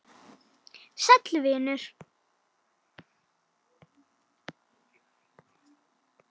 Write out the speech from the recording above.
Sæll venur!